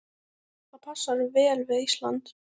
Það passar vel við Ísland.